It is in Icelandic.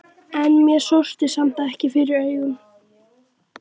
En mér sortnaði samt fyrir augum.